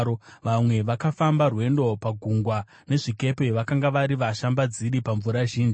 Vamwe vakafamba rwendo pagungwa nezvikepe; vakanga vari vashambadziri pamvura zhinji.